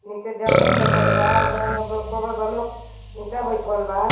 नीचे जमीन दिखाइत बा ओकरा मे बलोक इंटा बईठवल बा।